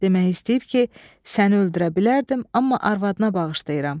Demək istəyib ki, səni öldürə bilərdim, amma arvadına bağışlayıram.